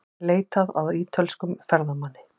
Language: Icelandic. Leitað að ítölskum ferðamanni